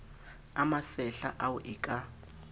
a masehla ao e ka